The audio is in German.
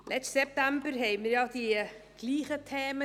Letzten September diskutierten wir ja dieselben Themen.